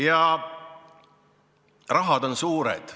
Ja rahad on suured.